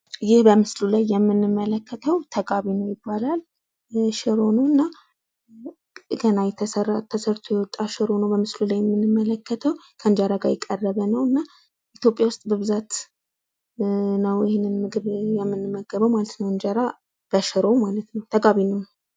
ይህ በምስሉ ላይ የምንመለከተው ተጋቢኖ ይባላል። ገና ተሰርቶ የወጣ ሽሮ ነው በምስሉ ላይ የምንመለከተው ።ከእንጀራ ጋር የቀረብ ነዉ። ኢትዮጽያ ውስጥ በብዛት ነው የምንመገበው። እንጀራ በሽሮ ማለት ነው ተጋቢኖ።